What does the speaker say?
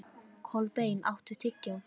Kolbeinn, áttu tyggjó?